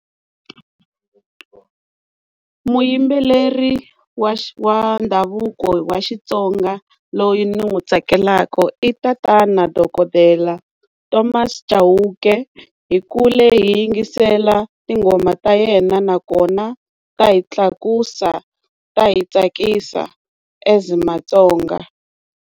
Muyimbeleri wa wa ndhavuko wa Xitsonga loyi ni n'wi tsakelaka i tatana dokodela Thomas Chauke hi kule hi yingisela tinghoma ta yena nakona ta hi tlakusa ta hi tsakisa as Matsonga.